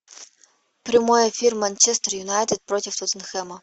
прямой эфир манчестер юнайтед против тоттенхэма